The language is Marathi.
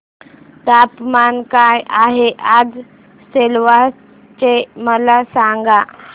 तापमान काय आहे आज सिलवासा चे मला सांगा